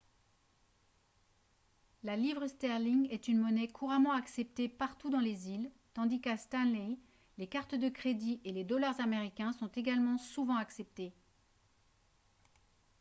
la livre sterling est une monnaie couramment acceptée partout dans les îles tandis qu'à stanley les cartes de crédit et les dollars américains sont également souvent acceptés